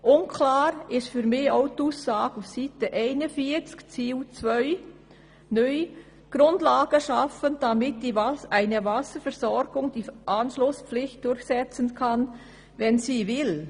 Unklar ist für mich auch die Aussage auf Seite 41 im Grundlagenbericht zum Teilbereich Wasserversorgung unter dem neuen Ziel 2: «Grundlagen schaffen, damit eine Wasserversorgung die Anschlusspflicht durchsetzen kann (wenn sie das will).»